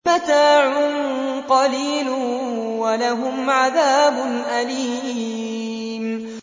مَتَاعٌ قَلِيلٌ وَلَهُمْ عَذَابٌ أَلِيمٌ